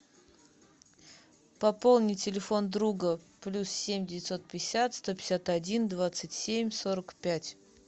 пополни телефон друга плюс семь девятьсот пятьдесят сто пятьдесят один двадцать семь сорок пять